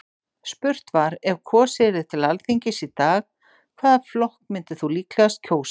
Spurt var: Ef kosið yrði til Alþingis í dag, hvaða flokk myndir þú líklegast kjósa?